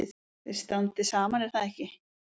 Þið standið saman er það ekki?